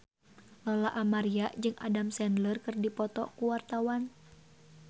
Lola Amaria jeung Adam Sandler keur dipoto ku wartawan